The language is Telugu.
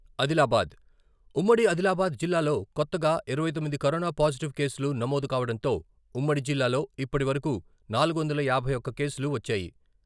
అదిలాబాద్, ఉమ్మడి అదిలాబాద్ జిల్లాలొ కొత్తగా ఇరవై తొమ్మిది కరోనా పాజిటివ్ కేసులు నమోదు కావడంతో ఉమ్మడి జిల్లాలొ ఇప్పటి వరకు నాలుగు వందల యాభై ఒక్క కేసులు వచ్చాయి.